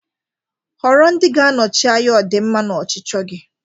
Họrọ ndị ga-anọchi anya ọdịmma na ọchịchọ gị.